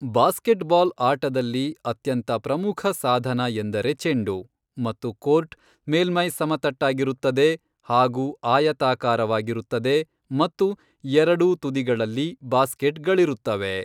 Basketball ಆಟದಲ್ಲಿ ಅತ್ಯಂತ ಪ್ರಮಖ ಸಾಧನ ಎಂದರೆ ಚೆಂಡು ಮತ್ತು ಕೋರ್ಟ್, ಮೇಲ್ಮೈ ಸಮತಟ್ಟಾಗಿರುತ್ತದೆ ಹಾಗೂ ಆಯತಾಕಾರವಾಗಿರುತ್ತದೆ ಮತ್ತು ಎರಡೂ ತುದಿಗಳಲ್ಲಿ ಬಾಸ್ಕೆಟ್ಗಳಿರುತ್ತವೆ.